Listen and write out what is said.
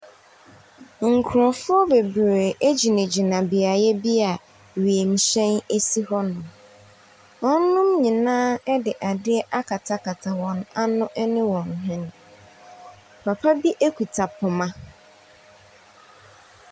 Nkurɔfoɔ bebree egyina gyina beae bi a wiemhyɛn esi hɔ. Wɔn nom nyinaa ɛde adeɛ akatakata wɔn ano ɛne wɔn hwene. Papa bi ekita poma.